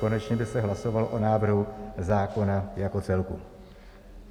Konečně by se hlasovalo o návrhu zákona jako celku.